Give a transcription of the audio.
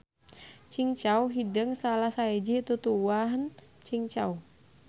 Cingcau hideung salah sahiji tutuwuhan cingcau.